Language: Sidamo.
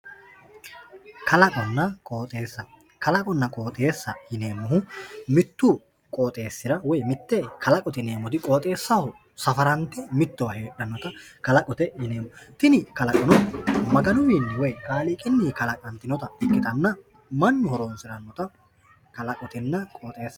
Kalaqonna qooxxeesa, kalaqonna qooxxeesa yineemmohu mitu qooxxeesira woyi mite kalaqote yineemmoti qooxxeesaho safarante mittowa heedhanotta kalaqote yineemmo tini kalaqono Maganuwinni woyi kaaliiqiwinni kalaqantinotta ikkittanna mannu horonsiranotta kalaqotenna qooxxeesaho yineemmo.